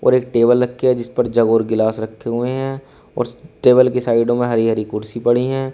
और एक टेबल रखी जिस पर जग और गिलास रखे हुए हैं और स् टेबल की साइडों में हरी हरी कुर्सी पड़ी हैं।